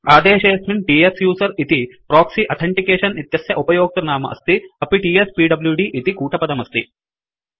आदेशेऽस्मिन् त्सुसेर इति proxy authentication इत्यस्य उपयोक्तृनाम अस्ति अपि टीएसपीव्डीडी इति कूटपदमस्ति